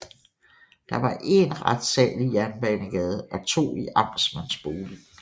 Der var én retssal i Jernbanegade og to i amtmandsboligen